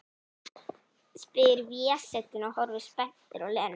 spyr Vésteinn og horfir spenntur á Lenu.